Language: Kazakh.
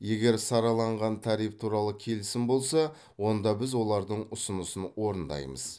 егер сараланған тариф туралы келісім болса онда біз олардың ұсынысын орындаймыз